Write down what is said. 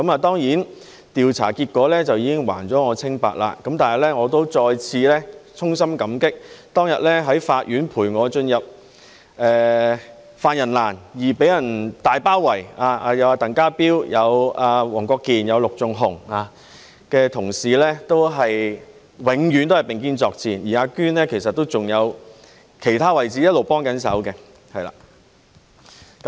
當然，調查結果已經還了我清白，但我仍要再次衷心感激當天在法院陪我進入犯人欄而遭受"大包圍"的鄧家彪、黃國健議員及陸頌雄議員等同事，他們永遠都是並肩作戰，而"阿娟"其實還有在其他位置一直幫忙。